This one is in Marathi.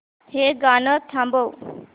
हे गाणं थांबव